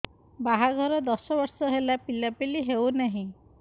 ବାହାଘର ଦଶ ବର୍ଷ ହେଲା ପିଲାପିଲି ହଉନାହି